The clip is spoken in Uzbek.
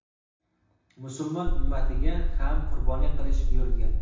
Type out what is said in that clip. musulmon ummatiga ham qurbonlik qilish buyurilgan.